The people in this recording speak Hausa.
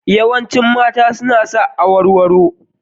Yawancin mata suna sa awarwaro.